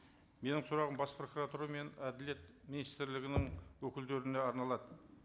менің сұрағым бас прокуратура мен әділет министрлігінің өкілдеріне арналады